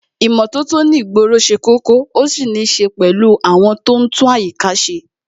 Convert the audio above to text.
ìmótótó ní ìgboro se kókó,o sì nì se pèlú àwon to n tún àyíká se